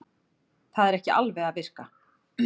Það er ekki alveg að virka